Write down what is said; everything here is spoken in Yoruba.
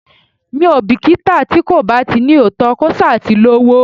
Mi ò bìkítà tí kò bá ní òótọ́, kó ṣá ti ní owó.